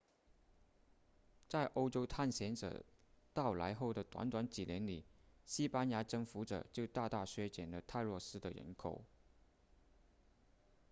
在欧洲探险者到来后的短短几年里西班牙征服者就大大削减了泰诺斯的人口